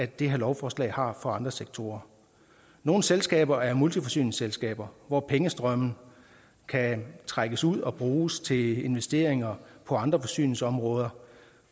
det her lovforslag har for andre sektorer nogle selskaber er multiforsyningsselskaber hvor pengestrømme kan trækkes ud og bruges til investeringer på andre forsyningsområder